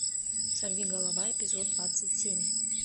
сорвиголова эпизод двадцать семь